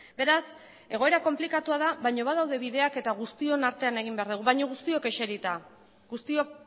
beraz egoera konplikatua da baina badaude bideak eta guztion artean egin behar dugu baina guztiok eserita guztiok